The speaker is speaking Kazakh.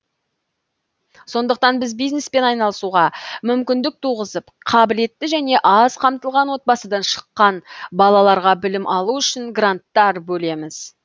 сондықтан біз бизнеспен айналысуға мүмкіндік туғызып қабілетті және аз қамтылған отбасыдан шыққан балаларға білім алу үшін гранттар бөлеміз